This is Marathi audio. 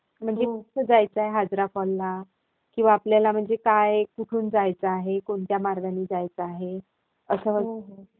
म्हणजे कसं जायचंय हाजरा फॉलला. किंवा म्हणजे आपल्याला काय, कुठून जायचं आहे? कोणत्या मार्गानी जायचं आहे? असं...